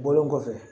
Bɔlen kɔfɛ